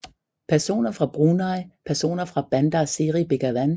Personer fra Brunei Personer fra Bandar Seri Begawan